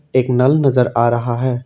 एक नल नजर आ रहा है।